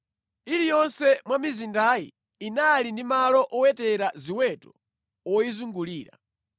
Iliyonse mwa mizindayi inali ndi malo owetera ziweto oyizungulira.